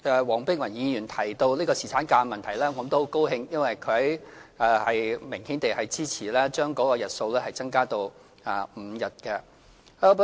黃碧雲議員提到侍產假的問題，我很高興她明顯支持將日數增加至5日。